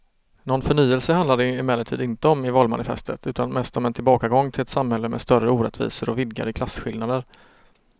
Någon förnyelse handlar det emellertid inte om i valmanifestet utan mest om en tillbakagång till ett samhälle med större orättvisor och vidgade klasskillnader.